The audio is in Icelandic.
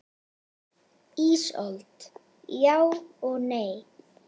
Ísold: Já og nei.